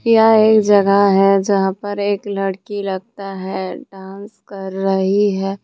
यहं एक जगह है जहां पर एक लड़की लगता है डांस कर रही है।